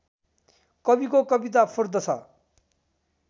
कविको कविता फुर्दछ